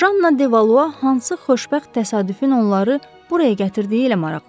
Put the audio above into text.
Janna Devalua hansı xoşbəxt təsadüfün onları buraya gətirdiyi ilə maraqlandı.